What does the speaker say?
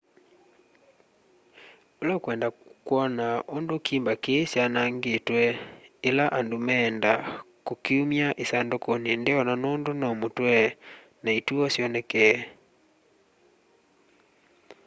ula ukwenda kwona undu kimba kii kyanangitwe ila andu meenda kukiumya isandukuni ndeona nundu no mutwe na ituo syonekee